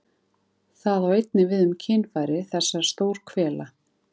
Það á einnig við um kynfæri þessar stórhvela.